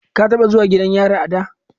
Ka taba zuwa gidan yari a da?